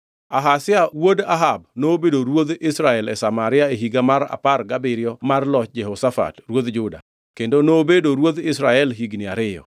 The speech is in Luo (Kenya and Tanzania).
Ahazia wuod Ahab nobedo ruodh Israel e Samaria e higa mar apar gabiriyo mar loch Jehoshafat ruodh Juda, kendo nobedo ruodh Israel higni ariyo.